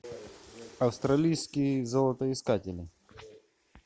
австралийские золотоискатели